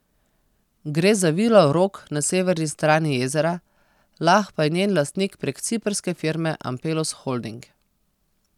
Gre za vilo Rog na severni strani jezera, Lah pa je njen lastnik prek ciprske firme Ampelus Holding.